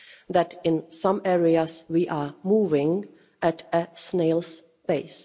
that in some areas we are moving at a snail's pace.